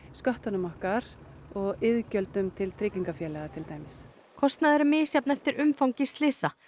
sköttunum okkar og iðgjöldum til tryggingafélaga til dæmis kostnaður er misjafn eftir umfangi slysa